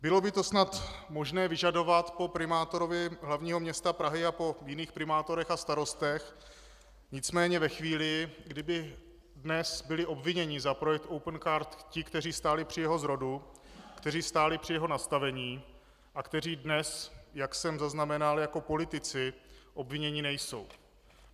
Bylo by to snad možné vyžadovat po primátorovi hlavního města Prahy a po jiných primátorech a starostech - nicméně ve chvíli, kdyby dnes byli obviněni za projekt Opencard ti, kteří stáli při jeho zrodu, kteří stáli při jeho nastavení a kteří dnes, jak jsem zaznamenal, jako politici obviněni nejsou.